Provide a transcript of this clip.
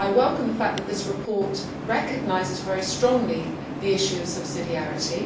I welcome the fact that this report recognises very strongly the issue of subsidiarity.